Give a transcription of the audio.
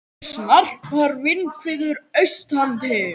Snarpar vindhviður austantil